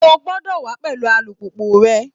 O gbọ́dọ̀ wà á pẹ̀lú alùpùpù rẹ